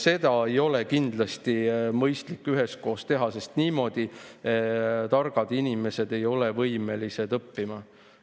Seda ei ole kindlasti mõistlik üheskoos teha, sest targad inimesed ei ole võimelised niimoodi õppima.